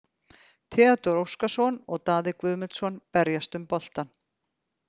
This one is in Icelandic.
Theodór Óskarsson og Daði Guðmundsson berjast um boltann.